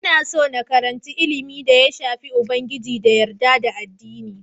Ina so na yi karanci ilimin da ya shafi Ubangiji da yarda da addini.